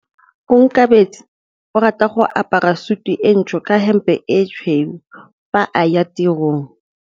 Onkabetse o rata go apara sutu e ntsho ka hempe e tshweu fa a ya tirong.